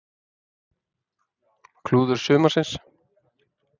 Klúður sumarsins?